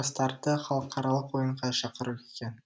жастарды халықаралық ойынға шақыру екен